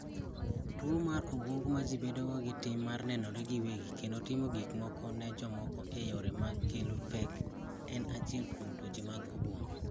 tuwo mar obwongo ma ji bedo gi tim mar nenore giwegi kendo timo gik moko ne jomoko e yore ma kelo pek en achiel kuom tuoche mag obwongo